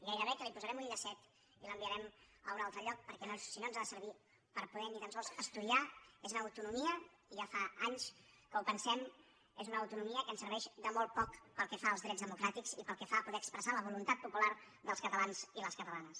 gairebé que li posarem un llacet i l’enviarem a un altre lloc perquè si no ens ha de servir per poder ni tan sols estudiar és una autonomia i ja fa anys que ho pensem que ens serveix de molt poc pel que fa als drets democràtics i pel que fa a poder expressar la voluntat popular dels catalans i les catalanes